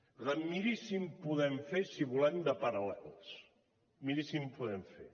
per tant miri si en podem fer si volem de paral·lels miri si en podem fer